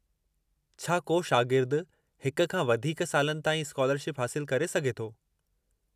छा को शागिर्दु हिक खां वधीक सालनि ताईं स्कालरशिप हासिलु करे सघे थो?